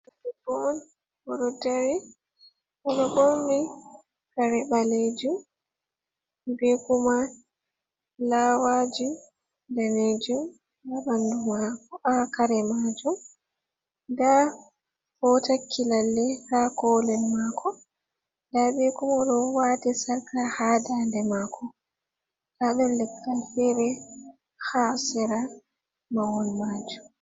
Debbo on ɗo dari oɗo ɓorni kare ɓalejum, bekuma fulawaju danejum ha bandu mako ha kare majum, nda otakki lalle ha kolel mako, nda bekuma ɗo wati sarka ha dande mako nda ɗon leggal fere ha sera mahol majum.